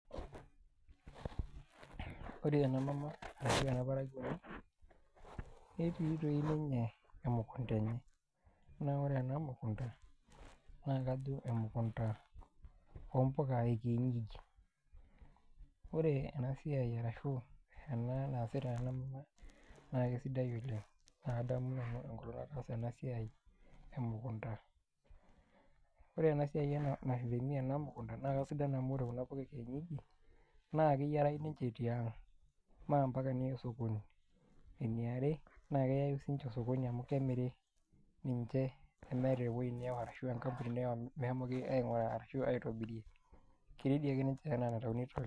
Ore ena mama arashu ena parakuoni netii ninye emukunda enye naa ore ena mukunda naa kajo emukunda oompuka ekienyeji ore ena siai arashu ena naasita ena mama naa kesidai oleng' naa kadamu nanu enkolong' nataasa ena siai emukunda. Ore ena siai ena mukunda naa kesidai amu ore kuna puka ekienyeji naa keyiarayu ninche tiang' mee mpaka niya osokoni, eniare naa keyayu ninche osokoni amu kemiri ninche teniata ewuei niawa ashu enkampuni niawa meshomoki aing'uraa ashu aitobirie.